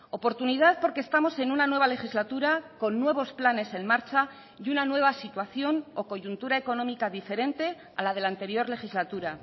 oportunidad porque estamos en una nueva legislatura con nuevos planes en marcha y una nueva situación o coyuntura económica diferente a la de la anterior legislatura